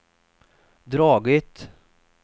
dragit